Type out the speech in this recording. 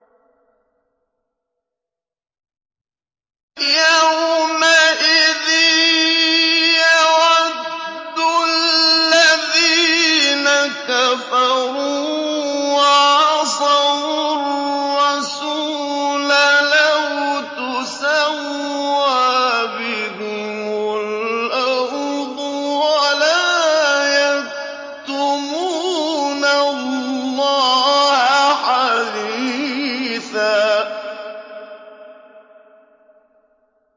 يَوْمَئِذٍ يَوَدُّ الَّذِينَ كَفَرُوا وَعَصَوُا الرَّسُولَ لَوْ تُسَوَّىٰ بِهِمُ الْأَرْضُ وَلَا يَكْتُمُونَ اللَّهَ حَدِيثًا